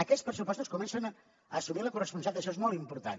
aquests pressupostos comencen a assumir la corresponsabilitat això és molt important